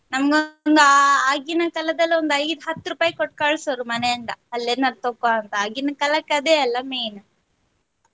ನಮಗೊಂದು ಆಗಿನ ಕಾಲದಲ್ಲಿ ಒಂದು ಐದು ಹತ್ತು ರೂಪಾಯಿ ಕೊಟ್ಟ ಕಳ್ಸೋರು ಮನೆಯಿಂದ ಅಲ್ಲಿ ಎನರ ತಗೋ ಅಂತ ಆಗಿನ ಕಾಲಕ್ ಅದೆ ಅಲ್ಲ main .